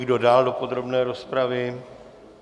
Kdo dál do podrobné rozpravy?